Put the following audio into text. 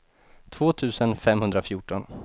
två tusen femhundrafjorton